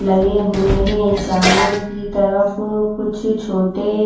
लगे हुए हैं सामने की तरफ कुछ छोटे--